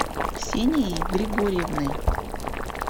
ксенией григорьевной